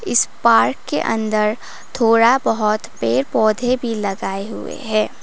इस पार्क के अंदर थोड़ा बहोत पेड़ पौधे भी लगाए हुए हैं।